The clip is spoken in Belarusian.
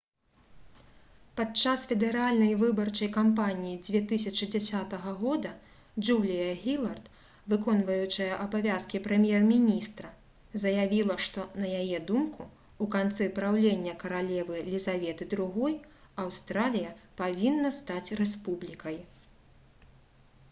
падчас федэральнай выбарчай кампаніі 2010 года джулія гілард выконваючая абавязкі прэм'ер-міністра заявіла што на яе думку у канцы праўлення каралевы лізаветы ii аўстралія павінна стаць рэспублікай